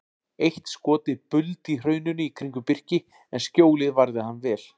Eitt skotið buldi í hrauninu í kringum Birki en skjólið varði hann vel.